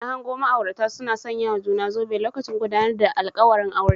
Na hango ma'aurata suna sanyawa juna zobe lokacin gudawar alkawuran aure